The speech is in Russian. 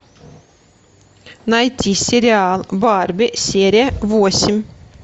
найти сериал барби серия восемь